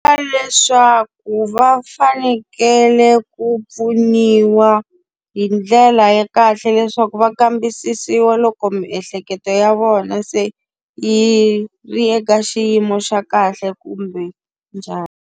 Leswaku va fanekele ku pfuniwa hi ndlela ya kahle leswaku va kambisisiwa loko miehleketo ya vona se yi ri eka xiyimo xa kahle kumbe njhani.